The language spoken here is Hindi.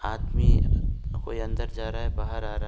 आदमी कोई अंदर जा रहा है बाहर आ रहा है।